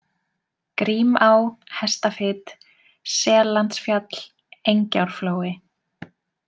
Grímá, Hestafit, Sellandsfjall, Engjárflói